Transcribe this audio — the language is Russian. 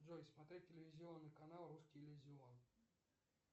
джой смотреть телевизионный канал русский иллюзион